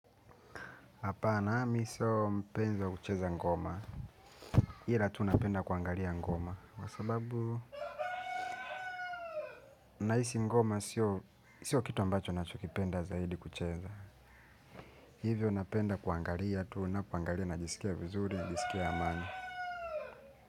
Hapana, mi sio mpenzi wa kucheza ngoma. Ila tu napenda kuangalia ngoma. Kwa sababu, nahisi ngoma sio kitu ambacho nachokipenda zaidi kucheza. Hivyo napenda kuangalia tu napoangalia najisikia vizuri, jisikia amani.